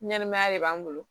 Ɲɛnɛmaya de b'an bolo